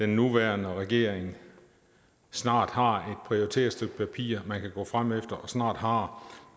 nuværende regering snart har prioriteret stykke papir man kan gå frem efter og snart har